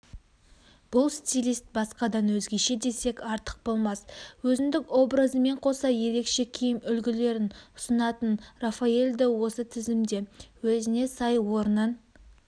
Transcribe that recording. бұл стилист басқадан өзгеше десек артық болмас өзіндік образымен қоса ерекше киім үлгілерін ұсынатын рафаэль да осы тізімде өзіне сай орнын